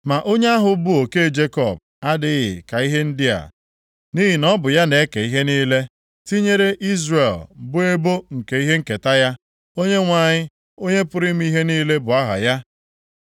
Ma onye ahụ bụ Oke Jekọb adịghị ka ihe ndị a, nʼihi na Ọ bụ ya na-eke ihe niile, tinyere Izrel bụ ebo nke ihe nketa ya. Onyenwe anyị, Onye pụrụ ime ihe niile bụ aha ya.